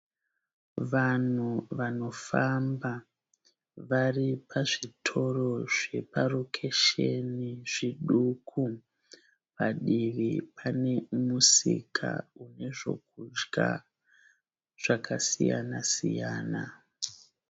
Vanhu vanofamba. Vari pazvitoro zveparokesheni zviduku. Padivi pane musika une zvokudya zvakasiyana-siyana.